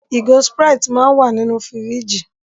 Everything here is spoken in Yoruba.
Ìgò Sprite náà wà nínú fíríjì.